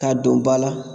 K'a don ba la